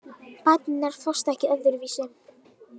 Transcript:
Bæturnar fást ekki öðruvísi